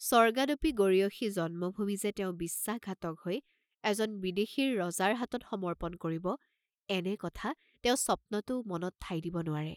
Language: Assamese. স্বৰ্গাদপি গৰীয়সী জন্মভূমি যে তেওঁ বিশ্বাসঘাতক হৈ এজন বিদেশীৰ ৰজাৰ হাতত সমৰ্পণ কৰিব এনে কথা তেওঁ স্বপ্নতো মনত ঠাই দিব নোৱাৰে।